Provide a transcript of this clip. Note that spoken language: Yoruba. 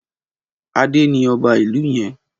Adé ni ọba ìlú yẹn.